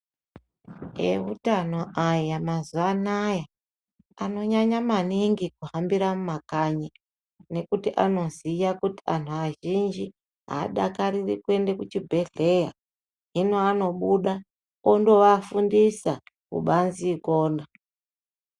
Eutano aya mazuwaanaya anonyanya maningi kuhambira mumakanyi nekuti anoziya kuti anhu azhinji aadakariri kuende kuchibhedhleya hino anobuda ondovafundisa kubazi ikona.